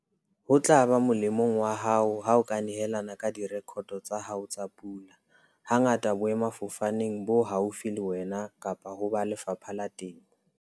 Ho tla ba molemong wa hao ha o ka nehelana ka direkoto tsa hao tsa pula, hangata boemafofaneng bo haufi le wena kapa ho ba Lefapha la Temo.